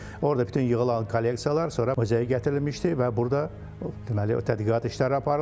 Orda bütün yığılan kolleksiyalar sonra üzə gətirilmişdi və burda deməli tədqiqat işləri aparılıb.